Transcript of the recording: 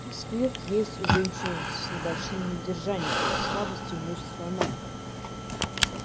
сквирт есть у женщин с небольшим недержанием то есть слабостью мышц слона